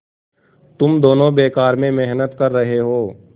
तुम दोनों बेकार में मेहनत कर रहे हो